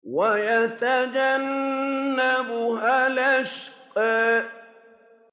وَيَتَجَنَّبُهَا الْأَشْقَى